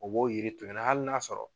O b'o yiri to yen nɔ hali n'a sɔrɔ